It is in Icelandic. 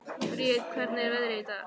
Briet, hvernig er veðrið í dag?